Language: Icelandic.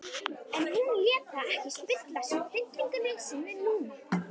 En hún lét það ekki spilla stillingu sinni núna.